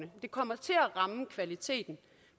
det kommer til at ramme kvaliteten